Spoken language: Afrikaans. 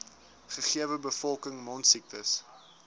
gegewe bevolking mondsiektes